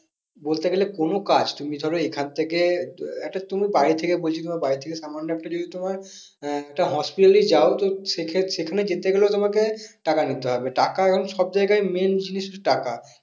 বলতে গেলে কোনো কাজ তুমি ধরো এখন থেকে আহ একটা তুমি বাড়ি থেকে বলছি তোমার বাড়ি থেকে সামান্য একটা যদি তোমার আহ একটা hospital এই যাও তো সেখানে যেতে গেলেও তোমাকে টাকা নিতে হবে টাকা এখন সব যায়গায় main জিনিসটা টাকা